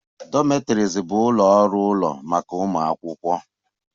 Dormitories bụ ụlọ ọrụ ụlọ maka ụmụ akwụkwọ